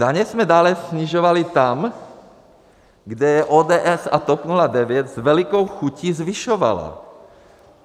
Daně jsme dále snižovali tam, kde je ODS a TOP 09 s velkou chutí zvyšovala.